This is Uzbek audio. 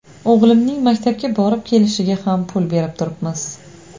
O‘g‘limning maktabga borib kelishiga ham pul berib turibmiz.